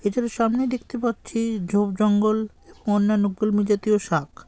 এছাড়া সামনে দেখতে পাচ্ছি ঝোপ জঙ্গল অন্যান্য কলমি জাতীয় শাক ।